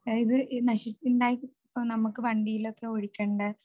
അതായത് ഈ നമ്മക്ക് വണ്ടിയിൽ ഒക്കെ ഒഴിക്കേണ്ട